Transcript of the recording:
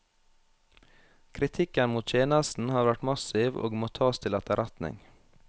Kritikken mot tjenesten har vært massiv og må tas til etterretning.